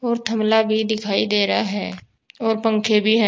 और थमला भी दिखाई दे रहा है और पंखे भी है।